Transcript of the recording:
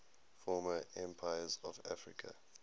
former empires of africa